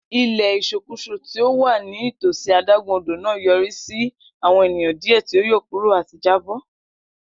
Ilẹ isokuso ti o wa nitosi adagun odo naa yorisi awọn eniyan diẹ ti o yọkuro ati ja bo.